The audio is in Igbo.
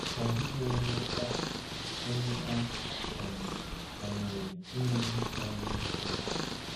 Ọ dịghị onye a onye a um manyere inye ihe karịrị ike ya.